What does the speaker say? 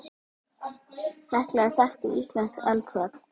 Hekla er þekkt íslenskt eldfjall.